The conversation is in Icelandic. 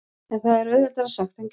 En það er auðveldara sagt en gert.